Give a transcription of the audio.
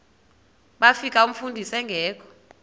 bafika umfundisi engekho